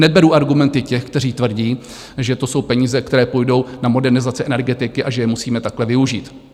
Neberu argumenty těch, kteří tvrdí, že to jsou peníze, které půjdou na modernizaci energetiky a že je musíme takhle využít.